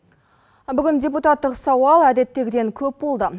бүгін депутаттық сауал әдеттегіден көп болды